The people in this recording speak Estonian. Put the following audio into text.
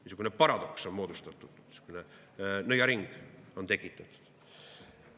Niisugune paradoks, niisugune nõiaring on tekitatud.